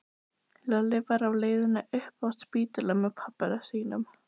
Lalli var á leið upp á spítala með pabba sínum.